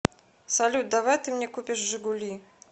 салют давай ты мне купишь жигули